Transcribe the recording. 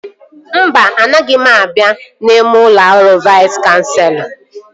Mba, anaghị m abịa n'ime ụlọ ọrụ Vais Kanselọ